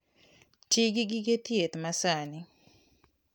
Ti gi gige thieth masani.